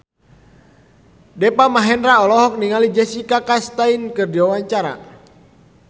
Deva Mahendra olohok ningali Jessica Chastain keur diwawancara